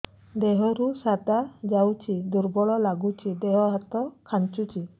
ଦେହରୁ ସାଧା ଯାଉଚି ଦୁର୍ବଳ ଲାଗୁଚି ଦେହ ହାତ ଖାନ୍ଚୁଚି